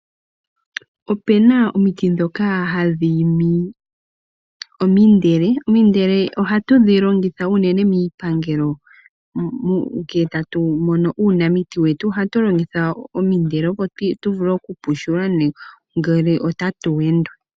Opena omiti dhoka hadhi imi omindele. Omindeke ohadhi longithwa unene miipangelo ngele tatu mono uuhaku wetu ohatu longitha omindele, opo tu vule okuthetwa ngele otatu yendwa.